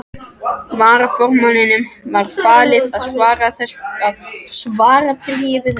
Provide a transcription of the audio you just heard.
Varaformanni var falið að svara bréfi þessu.